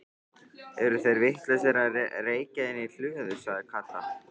Eru þeir vitlausir að reykja inni í hlöðu? sagði Kata.